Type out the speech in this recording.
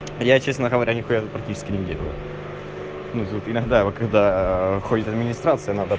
я честно говоря нихуя тут практически не делаю ну тут иногда вот когда ходит администрация надо